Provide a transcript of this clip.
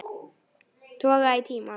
Toga í tímann.